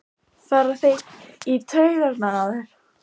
fara þeir í taugarnar á þér?